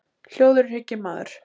Hljóður er hygginn maður.